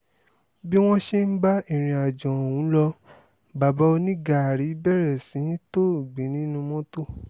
bí wọ́n ṣe ń bá irìnàjò ọ̀hún lọ bàbá onígáárí bẹ̀rẹ̀ sí í tòògbé nínú mọ́tò